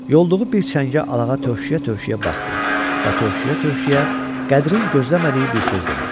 Yolduğu bir çəngə alağa tövşüyə-tövşüyə baxdı və tövşüyə-tövşüyə Qədirin gözləmədiyi bir söz dedi: